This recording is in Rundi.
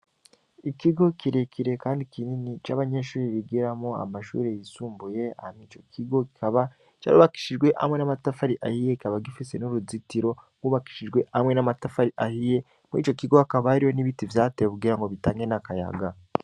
Ikigo kirekire, kandi kinini c'abanyenshuri bigeramo amashuri yisumbuye amwe ico kigo kaba carubakishijwe amwe n'amatafari ahiye kaba gifise n'uruzitiro ngubakishijwe amwe n'amatafari ahiye muri ico kigo akabariwo n'ibiti vyatewe kugira ngo bitange n'akayaga.